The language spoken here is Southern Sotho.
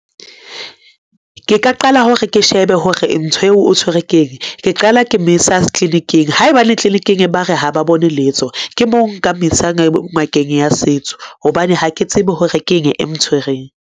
Ke ka qala hore ke shebe hore ntho eo o tshwerwe ke eng. Ke qala ke mo ise clinic-ing haebane clinic-ing ba re ha ba bone letho, ke moo nka mo isa ngakeng ya setso, hobane ha ke tsebe hore ke eng e mtshwereng.